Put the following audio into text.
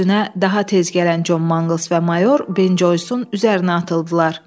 Özünə daha tez gələn Con Manquls və mayor Ben Joysun üzərinə atıldılar.